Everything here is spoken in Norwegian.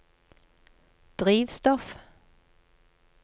drivstoff